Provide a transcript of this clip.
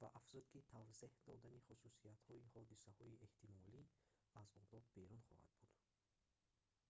ва афзуд ки тавзеҳ додани хусусиятҳои ҳодисаҳои эҳтимолӣ аз одоб берун хоҳад буд